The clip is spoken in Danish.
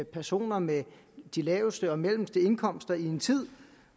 personer med de laveste og mellemste indkomster i en tid